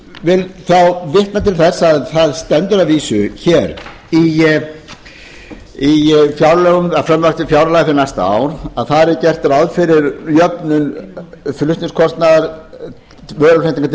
vil þá vitna til þess að það stendur að vísu í frumvarpi til fjárlaga fyrir næsta ár að gert sé ráð fyrir jöfnun flutningskostnaðar á vöruflutningum til